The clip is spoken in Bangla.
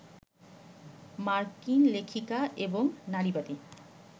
মার্কিন লেখিকা এবং নারীবাদী